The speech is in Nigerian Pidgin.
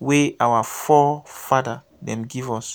wey our fore-fada dem give us.